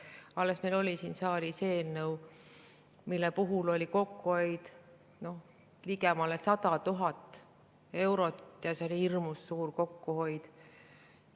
Alles meil oli siin saalis eelnõu, mille puhul oli kokkuhoid ligemale 100 000 eurot, ja see oli hirmus suur kokkuhoid.